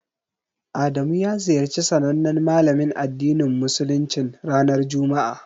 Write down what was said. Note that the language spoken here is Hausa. Adamu ya ziyarci sanannen Malamin addinin Musuluncin, ranar juma'a.